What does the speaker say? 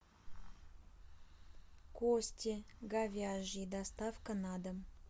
кости говяжьи доставка на дом